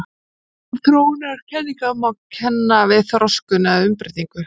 Fyrri gerð þróunarkenninga má kenna við þroskun eða umbreytingu.